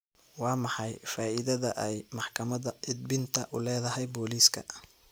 Waa maxay faa'iidada ay maxkamadda edbinta u leedahay booliiska?